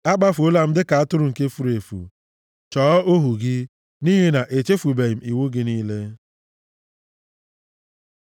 Akpafuola m dịka atụrụ nke furu efu, chọọ ohu gị, nʼihi na echefubeghị m iwu gị niile.